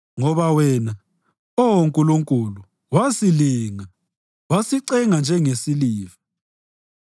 Ngoba wena, Oh Nkulunkulu, wasilinga; wasicenga njengesiliva.